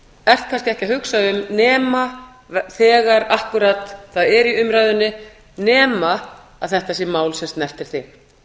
ert kannski ekki að hugsa um nema þegar akkúrat það er í umræðunni nema þetta sé mál sem snertir þig